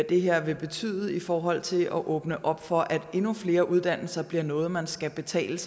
det her vil betyde i forhold til at åbne op for at endnu flere uddannelser bliver noget man skal betale